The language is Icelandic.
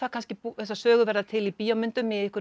þessar sögur verða til í bíómyndum eða